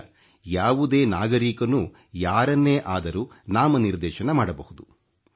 ಈಗ ಯಾವುದೇ ನಾಗರೀಕನೂ ಯಾರನ್ನೇ ಅದರೂ ನಾಮನಿರ್ದೇಶನ ಮಾಡಬಹುದು